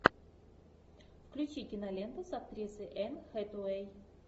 включи киноленту с актрисой энн хэтэуэй